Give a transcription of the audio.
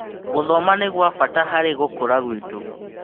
Gũthoma nĩ gwa bata harĩ gũkũra gwitũ.